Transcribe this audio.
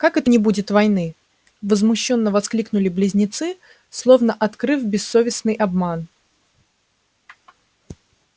как это не будет войны возмущённо воскликнули близнецы словно открыв бессовестный обман